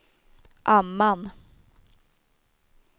Amman